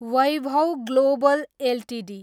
Vaibhav Global Ltd